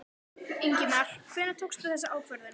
Ingimar: Hvenær tókstu þessa ákvörðun?